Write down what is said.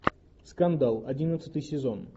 скандал одиннадцатый сезон